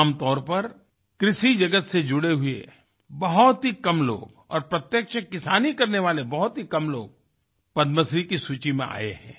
आमतौर पर कृषि जगत से जुड़े हुए बहुत ही कम लोग और प्रत्यक्ष किसानी करने वाले बहुत ही कम लोग पद्मश्री की सूची में आये हैं